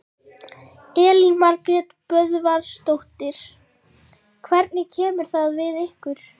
Elín Margrét Böðvarsdóttir: Hvernig kemur það við ykkur?